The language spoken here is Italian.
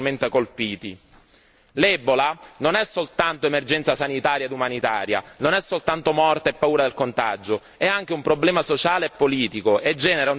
L'ebola non è soltanto emergenza sanitaria e umanitaria, non è soltanto morte e paura del contagio, è anche un problema sociale e politico e genera un disastroso effetto economico.